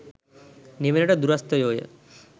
නිවනට දුරස්ථයෝ ය.